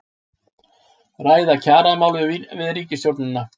Ræða kjaramál við ríkisstjórnina